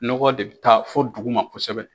Nɔgɔ de bi taa fɔ duguma kosɛbɛ.